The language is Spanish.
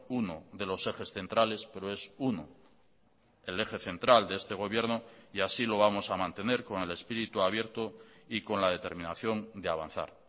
uno de los ejes centrales pero es uno el eje central de este gobierno y así lo vamos a mantener con el espíritu abierto y con la determinación de avanzar